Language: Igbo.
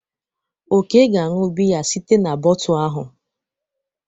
Ọke ga-aṅụ biya site n'botu ahụ.